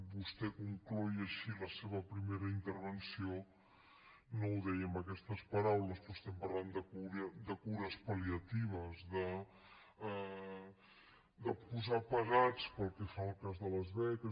vostè concloïa així la seva primera intervenció no ho deia amb aquestes paraules però estem parlant de cures palliatives de posar pegats pel que fa al cas de les beques